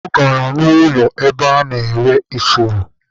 Ọ gara ụlọ ebe a na-ere ifuru.